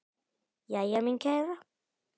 Jæja, mín kæra.